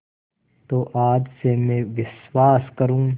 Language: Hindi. तो आज से मैं विश्वास करूँ